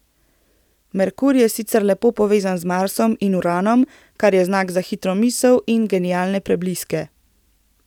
Merkur je sicer lepo povezan z Marsom in Uranom, kar je znak za hitro misel in genialne prebliske.